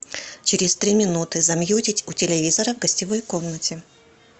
через три минуты замьютить у телевизора в гостевой комнате